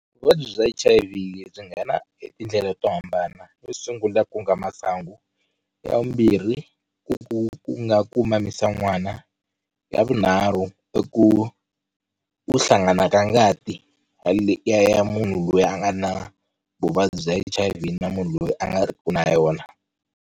Vuvabyi bya H_I_V byi nghena hi tindlela to hambana yo sungula ku nga masangu, ya vumbirhi ku ku nga ku mamisa n'wana, ya vunharhu i ku hlangana ka ngati ya munhu loyi a nga na vuvabyi bya H_I_V na munhu loyi a nga riki na yona.